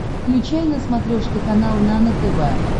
включай на смотрешке канал нано тв